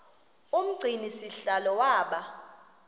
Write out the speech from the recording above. umgcini sihlalo waba